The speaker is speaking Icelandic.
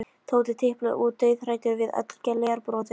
Tóti tiplaði út, dauðhræddur við öll glerbrotin.